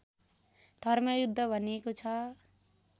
धर्मयुद्ध भनिएको छ